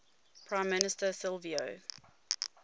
prime minister silvio